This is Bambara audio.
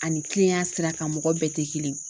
Ani kilenyan sira kan mɔgɔ bɛɛ tɛ kelen ye